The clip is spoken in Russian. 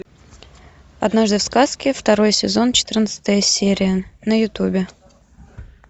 однажды в сказке второй сезон четырнадцатая серия на ютубе